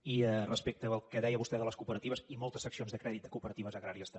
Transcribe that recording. i respecte del que deia vostè de les cooperatives i moltes seccions de crèdit de cooperatives agràries també